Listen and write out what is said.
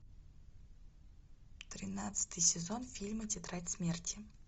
тринадцатый сезон фильма тетрадь смерти